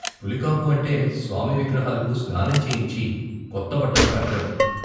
పులికాపు అంటే స్వామి విగ్రహాలకు స్నానం చేయించి, కొత్త బట్టలు కట్టడం.